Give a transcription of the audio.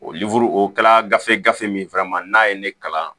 O o kɛla gafee gafe min n'a ye ne kalan